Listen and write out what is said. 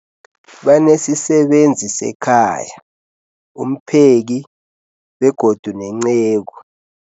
Banesisebenzi sekhaya, umpheki, begodu nenceku.